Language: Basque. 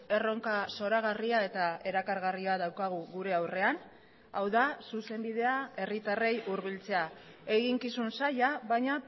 erronka zoragarria eta erakargarria daukagu gure aurrean hau da zuzenbidea herritarrei hurbiltzea eginkizun zaila baina